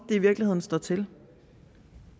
i virkeligheden står til